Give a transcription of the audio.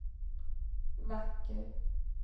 vacker